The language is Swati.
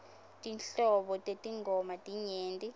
tinhlobo tetingoma tinyenti